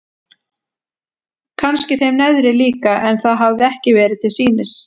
Kannski þeim neðri líka en það hafði ekki verið til sýnis.